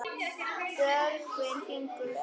Björgin fingur ver.